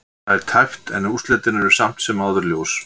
Það er tæpt en úrslitin eru samt sem áður ljós.